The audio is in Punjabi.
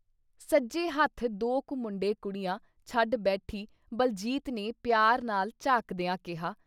ਸੱਜੇ ਹੱਥ ਦੋ ਕੁ ਮੁੰਡੇ ਕੁੜੀਆਂ ਛੱਡ ਬੈਠੀ ਬਲਜੀਤ ਨੇ ਪਿਆਰ ਨਾਲ ਝਾਕਦਿਆਂ ਕਿਹਾ।